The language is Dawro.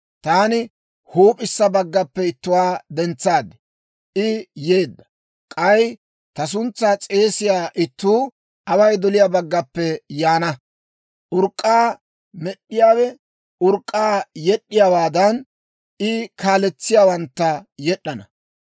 «Taani huup'issa baggappe ittuwaa dentsaad; I yeedda. K'ay ta suntsaa s'eesiyaa ittuu away doliyaa baggappe yaana. Urk'k'aa med'd'iyaawe urk'k'aa yed'd'iyaawaadan, I kaaletsiyaawantta yed'd'ana.